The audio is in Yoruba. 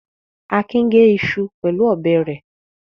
Akin gé iṣu pẹ̀lú ọ̀bẹ rẹ̀.